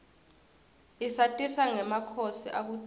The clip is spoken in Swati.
isatisa ngemakhosi akudzala